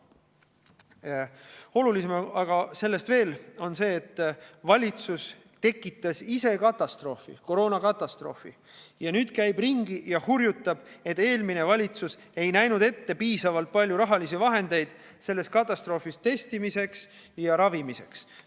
Veel olulisem on aga see, et valitsus ise tekitas koroonakatastroofi ja nüüd käib ringi ja hurjutab, et eelmine valitsus ei näinud ette piisavalt palju rahalisi vahendeid selles katastroofis testimiseks ja ravimiseks.